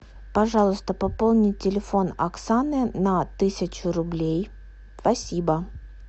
пожалуйста пополни телефон оксаны на тысячу рублей спасибо